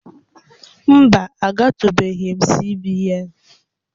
Mba, agatụbeghị m CBN